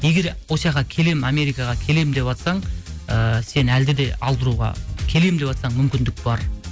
егер осяққа келемін америкаға келемін деватсаң ыыы сені әлде де алдыруға келем деватсаң мүмкіндік бар